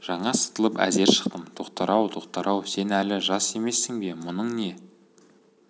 жаңа сытылып әзер шықтым тоқтар-ау тоқтар-ау сен әлі жас емессің бе мұның не